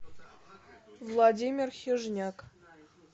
владимир хижняк